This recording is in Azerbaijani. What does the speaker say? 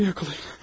Məni yaxalayın.